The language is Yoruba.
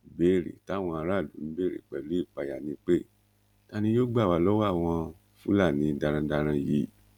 ìbéèrè táwọn aráàlú ń béèrè pẹlú ìpáyà ni pé ta ni yóò gbà wá lọwọ àwọn fúlàní darandaran yìí